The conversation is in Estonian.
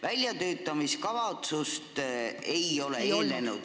Väljatöötamiskavatsust seaduseelnõule ei eelnenud.